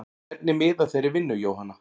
Hvernig miðar þeirri vinnu Jóhanna?